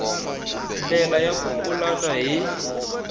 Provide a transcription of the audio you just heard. ndlela ya ku pulana hi